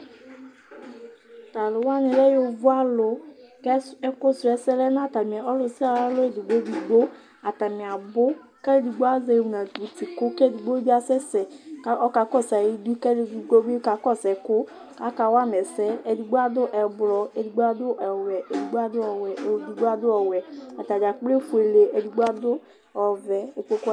Talʋ wani lɛ yovo alʋ kʋ ɛkʋsʋɛsɛ lɛnʋ ɔlʋ sia ɔlʋ ayʋ alɔ edigbo edigbo Atani abʋ kʋ edigbo azɛ inabʋti kʋ kʋ edigbo bi asɛsɛ kʋ ɔka kɔsʋ ayʋ idʋ kʋ edigbo bi kakɔsʋ ɛkʋ, kʋ akawama ɛsɛ, edigbo adʋ ɛblɔ edigbo adʋ ɔwɛ edigbo atadza kplo efuele edigbo adʋ ɔvɛ